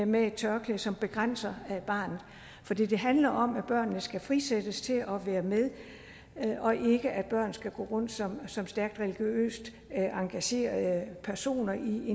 med et tørklæde som begrænser barnet for det handler om at børnene skal frisættes til at være med og ikke at børn skal gå rundt som som stærkt religiøst engagerede personer i